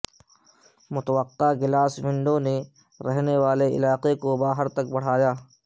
متوقع glass window نے رہنے والے علاقے کو باہر تک بڑھایا